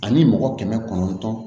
Ani mɔgɔ kɛmɛ kɔnɔntɔn